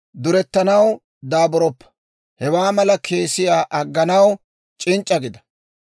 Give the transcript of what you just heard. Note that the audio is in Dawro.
Durettanaw daaburoppa; hewaa mala keesiyaa agganaw c'inc'c'a gida.